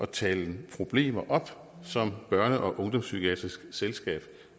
tale problemer op som børne og ungdomspsykiatrisk selskab